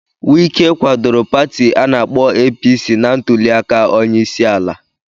Wike kwadoro Pati ana-akpo APC na ntuli aka onyeisiala.